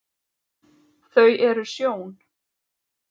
þau eru sjón